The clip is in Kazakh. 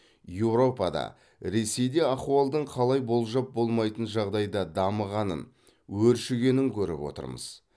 еуропада ресейде ахуалдың қалай болжап болмайтын жағдайда дамығанын өршігенін көріп отырмыз